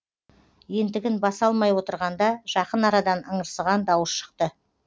ентігін баса алмай отырғанда жақын арадан ыңырсыған дауыс шықты